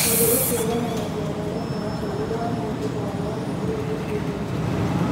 Ũndũ ũcio nĩ wonanagia mwerekera mũũru wa mũndũ o wothe ũrĩ gĩkundi-inĩ kĩu.